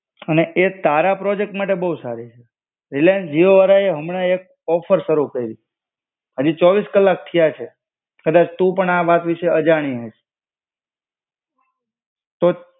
અને એ તારા પ્રોજેક્ટ માટે બો સારી છે. રિલાયન્સ જીઓ વાળાએ હમણાં એક ઓફર શરુ કૈરી. અજી ચોવીસ કલાક થયા છે. કદાચ તું પણ આ વાત વિષે અજાણી હોય. તો.